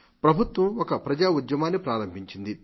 ప్రభుత్వం ఒక ప్రజాఉద్యమాన్ని ప్రారంభించింది